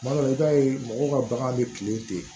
Tuma dɔ la i b'a ye mɔgɔw ka bagan bɛ tilen ten